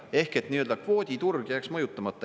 Ehk nii-öelda kvooditurg jääks mõjutamata.